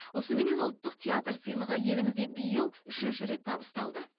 осыменен ұлттық театр сыйлығы елімізде биыл үшінші рет табысталды